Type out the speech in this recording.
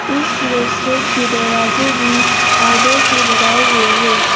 इस रेस्टोरेंट के दरवाजे भी आईडे से बनाए हुए है।